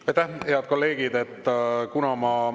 Aitäh, head kolleegid!